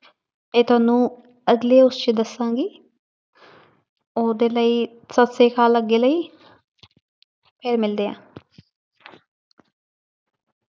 ਇਹ ਤੁਹਾਨੂੰ ਅਗਲੇ ਉਸ 'ਚ ਦੱਸਾਂਗੀ ਉਹਦੇ ਲਈ ਸਤਿ ਸ੍ਰੀ ਅਕਾਲ ਅੱਗੇ ਲਈ ਫਿਰ ਮਿਲਦੇ ਹਾਂ।